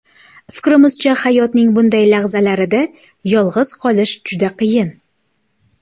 Fikrimcha, hayotning bunday lahzalarida yolg‘iz qolish juda qiyin”.